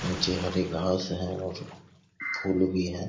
नीचे हरे घास है और फूल भी है।